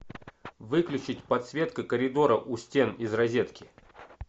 выключить подсветка коридора у стен из розетки